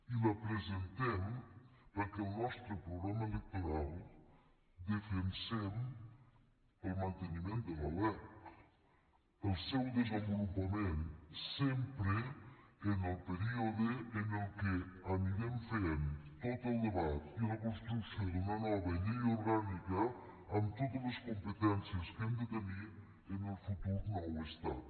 i la presentem perquè al nostre programa electoral defensem el manteniment de la lec el seu desenvolupament sempre en el període en què anirem fent tot el debat i la construcció d’una nova llei orgànica amb totes les competències que hem de tenir en el futur nou estat